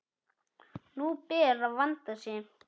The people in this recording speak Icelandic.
Nú ber að vanda sig!